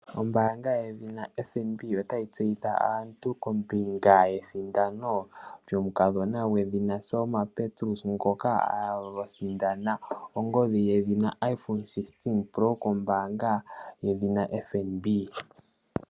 Ombaanga yedhina FNB otayi tseyithile aantu kombinga yesindano lyomukulukadhi gedhina Selma Petrus, ngoka a sindana ongodhi yedhina Iphone 16 pro, kombaanga yedhina FNB.